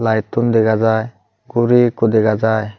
lightun dega jai guri ekko dega jai.